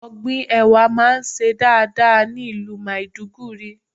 Ọ̀gbìn Ẹ̀wà máa ń ṣe dáadáa ní ìlú Maiduguri.